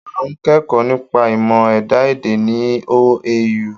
À ń kẹ́kọ̀ọ́ nípa ìmọ̀ ẹ̀dá-èdè ní OAU.